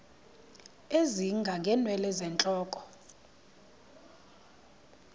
ezinga ngeenwele zentloko